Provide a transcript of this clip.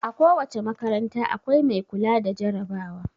A ko wace makaranta, akwai mai kula da jarabawa.